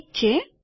ઠીક છે